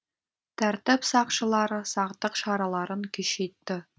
тәртіп сақшылары сақтық шараларын күшейтті